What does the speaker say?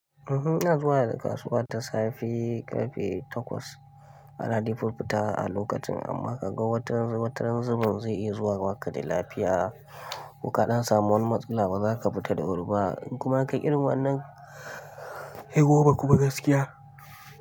Uhhm, ina zuwa da kasuwa da safe karfe takwas. Ana dai furfuta a lokacin amma ka ga wataran, wataran zubin zai iya zuwa baka da lafiya. Ko ka ɗan samu wani matsala, baza ka fita da wuri ba, in kuma ka kai irin wa'innan, sai goma kuma gaskiya.